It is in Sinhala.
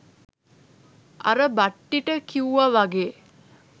අර බට්ටිට කිව්ව වගේ